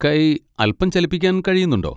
കൈ അൽപ്പം ചലിപ്പിക്കാൻ കഴിയുന്നുണ്ടോ?